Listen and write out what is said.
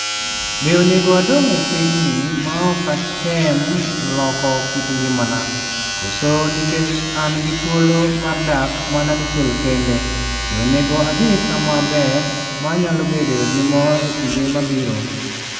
Be onego adong' e pinyni maok atem loko kit ngimana, koso nikech an gi thuolo mar dak mana dichiel kende, be onego adhi kama ber ma anyalo bedoe gi mor e kinde mabiro?"